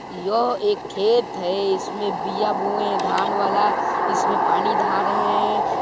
यह एक खेत है इसमें बिया बोय हैं धान वाला इसमें पानी धारे हैं।